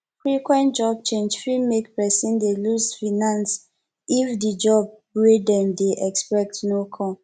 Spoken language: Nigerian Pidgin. frequent job change fit make person dey loose finance if di job wey dem dey expect no come